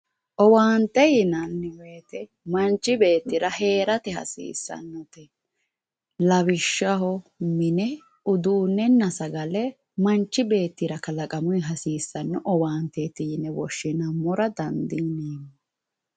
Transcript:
Owaante yinanni woyte manchi beettira heerate hasiissannote lawishshaho uduunnenna sagale manchi beettira kalaqamunni hasiissanno horooti yine woshshinammora dandiineemmo